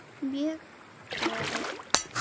Mjög geðug.